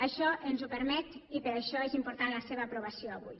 això ens ho permet i per això és important la seva aprovació avui